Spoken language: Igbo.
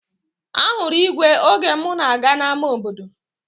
Ahụrụ igwe oge mụ na-aga n'ama obodo